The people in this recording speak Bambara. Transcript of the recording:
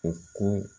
U ko